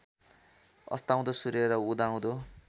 अस्ताउँदो सूर्य र उदाउँदो